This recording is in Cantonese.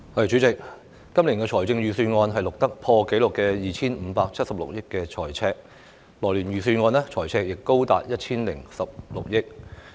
主席，今年的財政預算案錄得破紀錄的 2,576 億元財赤，來年預算案的財赤亦高達 1,016 億元。